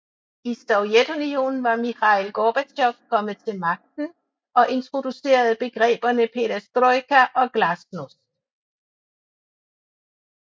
I Sovjetunionen var Mikhail Gorbatjov kommet til magten og introducerede begreberne Perestrojka og Glasnost